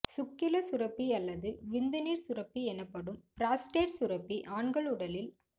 சுக்கிலச் சுரப்பி அல்லது விந்து நீர் சுரப்பி எனப்படும் பிராஸ்டேட் சுரப்பி ஆண்கள் உடலில்